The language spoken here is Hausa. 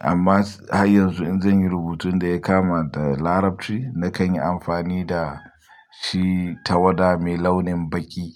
Amma har yanzu in zan yi rubutun da ya kama da Larabci, na kan yi amfani da shi tawada mai launin baƙi.